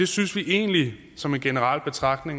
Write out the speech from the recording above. synes egentlig det som en generel betragtning